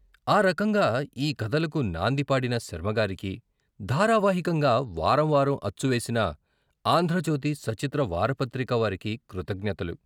ఆ రకంగా ఈ కథలకు నాందిపాడిన శర్మగారికి, ధారావాహికంగా వారం వారం అచ్చు వేసిన ' ఆంధ్రజ్యోతి సచిత్ర వారపత్రిక ' వారికి కృతజ్ఞతలు.